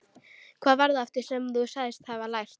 Hvað var það aftur sem þú sagðist hafa lært?